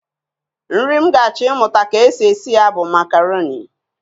Nri m ga-achọ ịmụta ka e si esi ya bụ makaroni